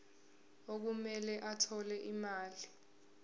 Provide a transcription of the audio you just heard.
okumele athole imali